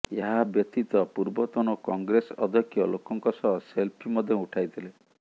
ଏହା ବ୍ୟତୀତ ପୂର୍ବତନ କଂଗ୍ରେସ ଅଧ୍ୟକ୍ଷ ଲୋକଙ୍କ ସହ ସେଲ୍ଫି ମଧ୍ୟ ଉଠାଇଥିଲେ